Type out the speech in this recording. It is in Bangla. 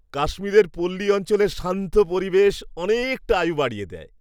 কাশ্মীরের পল্লী অঞ্চলের শান্ত পরিবেশ অনেকটা আয়ু বাড়িয়ে দেয়।